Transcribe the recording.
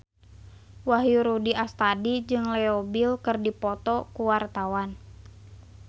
Wahyu Rudi Astadi jeung Leo Bill keur dipoto ku wartawan